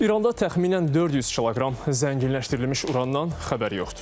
İranda təxminən 400 kiloqram zənginləşdirilmiş urandan xəbər yoxdur.